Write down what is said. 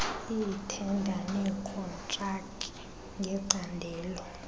iithenda nekhontraki ngecandelo